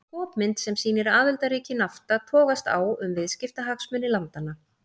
Skopmynd sem sýnir aðildarríki Nafta togast á um viðskiptahagsmuni landanna.